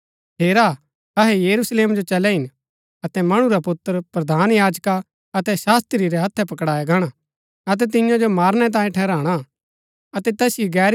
हेरा अहै यरूशलेम जो चलै हिन अतै मणु रा पुत्र प्रधान याजका अतै शास्त्री रै हत्थै पकड़ाया गाणा अतै तियां सो मारणै तांयें ठहराणा